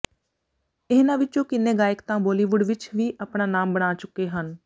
ਇਹਨਾਂ ਵਿੱਚੋਂ ਕਿੰਨੇ ਗਾਇਕ ਤਾਂ ਬਾਲੀਵੁੱਡ ਵਿੱਚ ਵੀ ਆਪਣਾ ਨਾਮ ਬਣਾ ਚੁੱਕੇ ਹਨ